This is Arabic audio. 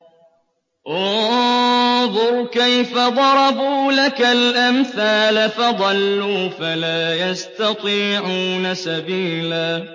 انظُرْ كَيْفَ ضَرَبُوا لَكَ الْأَمْثَالَ فَضَلُّوا فَلَا يَسْتَطِيعُونَ سَبِيلًا